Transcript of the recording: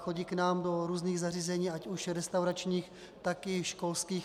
Chodí k nám do různých zařízení, ať už restauračních, tak i školských.